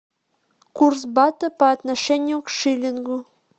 курс бата по отношению к шиллингу